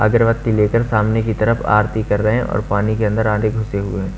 अगरबत्ती लेकर सामने की तरफ आरती कर रहे हैं और पानी के अंदर आधे घुसे हुए हैं।